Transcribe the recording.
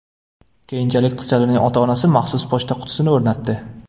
Keyinchalik, qizchalarning ota-onasi maxsus pochta qutisini o‘rnatdi.